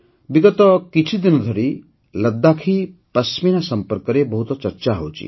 ବିଗତ କିଛିଦିନ ଧରି ଲଦ୍ଦାଖୀ ପଶମିନା ସମ୍ପର୍କରେ ବହୁତ ଚର୍ଚ୍ଚା ହେଉଛି